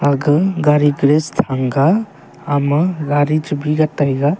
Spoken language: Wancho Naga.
aga gaari place thang ga ama gaari chubi ga taiga.